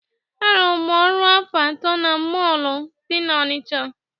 Arụrụ m ọrụ afọ atọ na mọọlụ dị n'Ọnịcha.